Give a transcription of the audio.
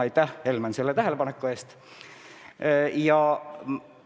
Aitäh, Helmen, selle tähelepaneku eest!